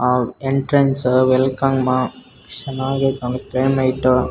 ಆ entrance welcome ಚೆನ್ನಾಗೈತೆ ನೋಡಿ .